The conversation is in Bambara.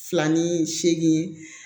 Fila ni segin